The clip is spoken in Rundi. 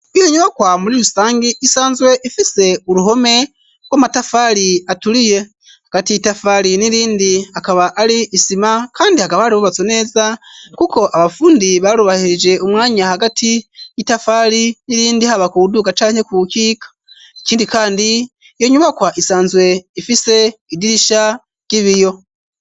Iyo nyubakwa muri rusangi isanzwe ifise uruhome rw'amatafari aturiye. Hagati y'itafari n'irindi akaba ari isima kandi hakaba hari hubatswe neza kuko abafundi barubahirije umwanya hagati y'itafari n'irindi, haba kuwuduga canke kuwukika. Ikindi kandi, iyo nyubakwa isanzwe ifise idirisha ry'ibiyo.